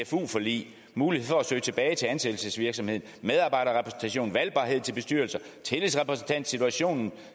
cfu forlig mulighed for at søge tilbage til ansættelsesvirksomheden medarbejderrepræsentation valgbarhed til bestyrelser tillidsrepræsentation situationen